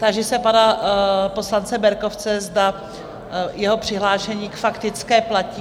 Táži se pana poslance Berkovce, zda jeho přihlášení k faktické platí?